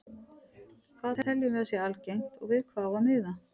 Hvað teljum við að sé algengt og við hvað á að miða?